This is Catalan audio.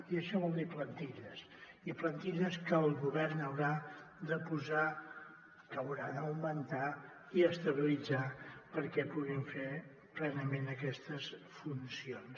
i això vol dir plantilles i plantilles que el govern haurà de posar que haurà d’augmentar i estabilitzar perquè puguin fer plenament aquestes funcions